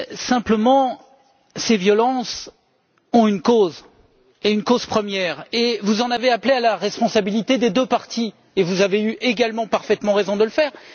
Simplement, ces violences ont une cause, et une cause première, et vous en avez appelé à la responsabilité des deux parties et vous avez également eu parfaitement raison de le faire.